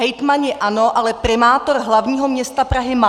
Hejtmani ano, ale primátor hlavního města Prahy má!